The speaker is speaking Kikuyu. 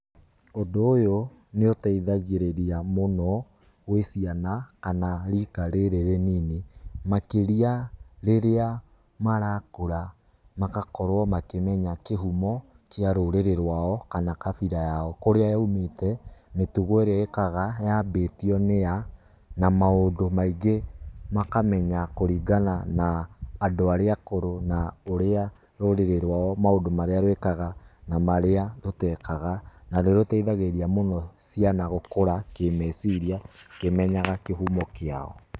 Ũndũ ũyũ nĩ ũteithagĩria mũno gwĩ ciana kana rika rĩrĩ rĩnini, makĩria rĩrĩa marakũra magakorwo makĩmenya kĩhumo kĩa rũrĩrĩ rwao, kana kabira yao, kũrĩa ya umĩte mĩtugo ĩkaga yambĩtio nĩ a na maũndũ maingĩ makamenya kũringana na andũ arĩa akũrũ na ũrĩa rũrĩrĩ rwao maũndũ marĩa rwĩkaga na marĩa rũtekaga na nĩ rũteithagĩrĩria mũno ciana gũkũra kĩ meciria ikĩmenyaga kĩhumo kĩao